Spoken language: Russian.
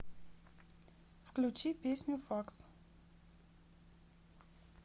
включи песню факс